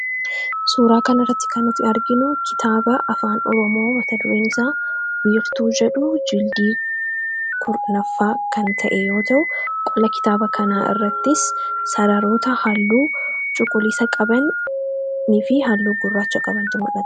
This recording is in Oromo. Suuraa kana irratti kan nuti arginu kitaaba afaan oromoo mata dureen isaa wiirtuu jedhu jildii kurnaffaa kan ta'e yoo ta'u qola kitaaba kanaa irrattis sararoota halluu cuquliisa qabanii fi haalluu gurraacha qabantu mullata.